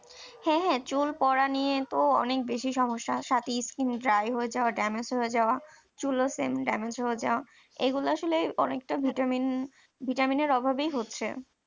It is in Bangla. হ্যাঁ হ্যাঁ চুল পড়া নিয়ে তো অনেক বেশি সমস্যা সাথে skin dry হয়ে যাওয়া damage হয়ে যাওয়া চুলও same damage যাওয়া এগুলো আসলে অনেকটা Vitamin Vitamin এর অভাবে হচ্ছে